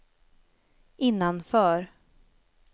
innanför